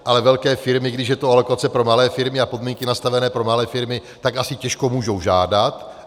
Ale velké firmy, když je to alokace pro malé firmy a podmínky nastavené pro malé firmy, tak asi těžko můžou žádat.